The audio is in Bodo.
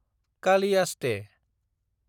कालियासते